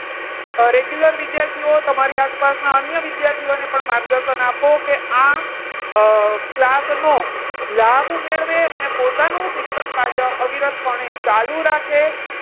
Regular વિદ્યાર્થીઓ તમારી આસપાસના અન્ય વિદ્યાર્થીઓને પણ માર્ગદર્શન આપો કે, અમ આ class નું લાભ મેળવે અને પોતાનું શિક્ષણ કાર્ય અવિરત પણે ચાલુ રાખે.